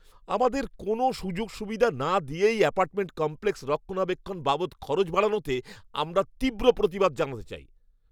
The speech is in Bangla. আমাদের কোনও সুযোগ সুবিধা না দিয়েই অ্যাপার্টমেন্ট কমপ্লেক্স রক্ষণাবেক্ষণ বাবদ খরচ বাড়ানোতে আমরা তীব্র প্রতিবাদ জানাতে চাই।